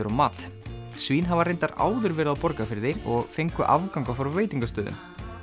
á mat svín hafa reyndar áður verið á Borgarfirði og fengu afganga frá veitingastöðum